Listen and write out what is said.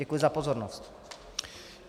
Děkuji za pozornost.